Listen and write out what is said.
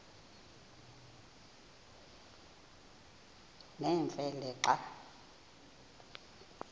nemfe le xa